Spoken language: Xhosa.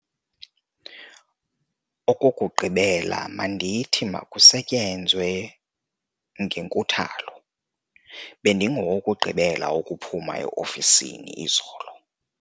Okokugqibela mandithi makusetyenzwe ngenkuthalo. bendingowokugqibela ukuphuma e-ofisini izolo